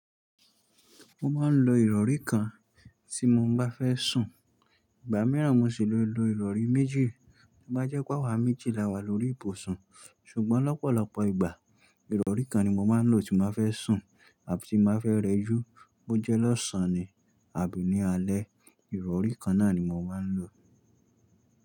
Mo máa ń lo ìrọ̀rí kan tí mo bá fẹ́ sùn, ìgbà mìíràn mo sì ló lo ìrọ̀rí méjì tó bá jẹ́ pé àwa méjì la wà lórí ìbùsùn. Ṣùgbọ́n lọ́pọ̀lọpọ̀ ìgbà ìrọ̀rí kan ni mo máa ń lò tí n ba fẹ́ sùn àbí tí n ba fẹ́ rẹjú bó jẹ́ lọ́sàn-án ni àbí ní alẹ́, ìrọ̀rí kan náà ni mo máa ń lò.